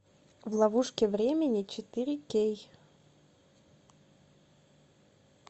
в ловушке времени четыре кей